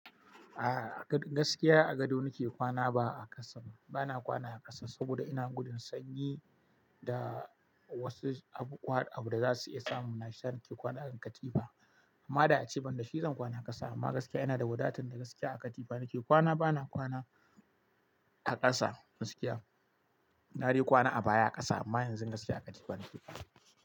A gaskiya a gado nake kwana ba a ƙasa ba, bana kwana a ƙasa saboda ina gudun sanyi da wasu abu da za su iya samu. Na shiyasa nake kwana a kan katifa. Amma da a ce ban da shi zan kwana ƙasa amma gaskiya ina da wadatan da gaskiya a katifa nake kwana. Bana kwana a ƙasa gaskiya. Na dai kwana a baya ƙasa amma yanzu gaskiya a katifa nake kwana.